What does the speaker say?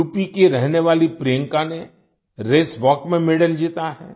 UP की रहने वाली प्रियंका ने रेस वाल्क रेस वाक में मेडल जीता है